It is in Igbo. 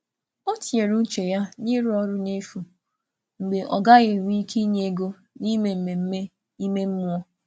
Ọ̀ tìnyere uche ya n’ịrụ ọrụ n’efu mgbe um ọ̀ gaghị enwe ike inye ego n’ime mmemme ime mmụọ.